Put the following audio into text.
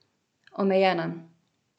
Omejena.